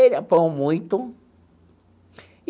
Ele apanhou muito.